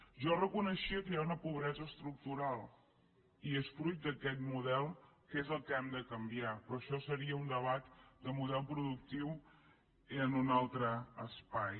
jo reconeixia que hi ha una pobresa estructural i és fruit d’aquest model que és el que hem de canviar però això seria un debat de model productiu i en un altre espai